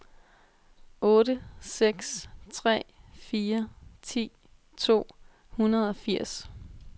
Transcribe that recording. otte seks tre fire ti to hundrede og firs